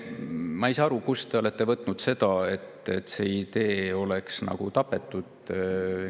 Ma ei saa aru, kust te olete võtnud seda, et see idee oleks nagu tapetud.